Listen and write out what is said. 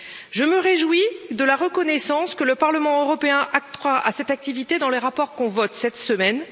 Je me réjouis de la reconnaissance que le Parlement européen accorde à cette activité dans les rapports que nous voterons cette semaine.